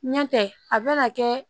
Ɲɛ tɛ a bɛna kɛ